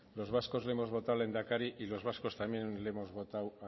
los vascos le hemos votado lehendakari y los vascos también le hemos votado